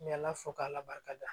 N bɛ ala fo k'ala barika da